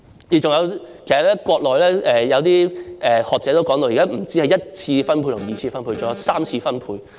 其實，國內有些學者已提到現時不單只有一次分配及二次分配，還有三次分配。